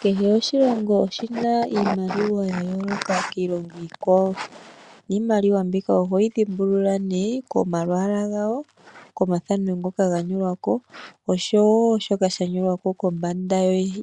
Kehe oshilongo oshi na iimaliwa ya yooloka kiilongo iikwawo. Niimaliwa mbika ohoyi dhimbulula nee komalwaala gayo, komathano ngoka ga nyolwa ko osho wo shoka sha nyolwa ko kombanda